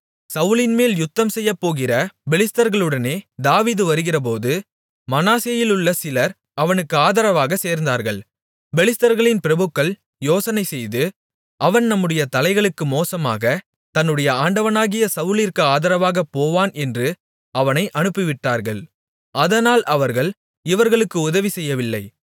சவுலின்மேல் யுத்தம்செய்யப்போகிற பெலிஸ்தர்களுடனே தாவீது வருகிறபோது மனாசேயிலும் சிலர் அவனுக்கு ஆதரவாகச் சேர்ந்தார்கள் பெலிஸ்தர்களின் பிரபுக்கள் யோசனைசெய்து அவன் நம்முடைய தலைகளுக்கு மோசமாகத் தன்னுடைய ஆண்டவனாகிய சவுலிற்கு ஆதரவாகப் போவான் என்று அவனை அனுப்பிவிட்டார்கள் அதனால் அவர்கள் இவர்களுக்கு உதவி செய்யவில்லை